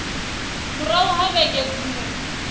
murahu ha vhege mbili dziṅwe